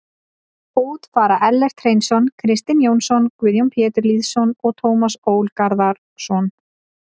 Út fara Ellert Hreinsson, Kristinn Jónsson, Guðjón Pétur Lýðsson og Tómas Ól Garðarsson.